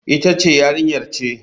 Ita ce Yarinyar ce.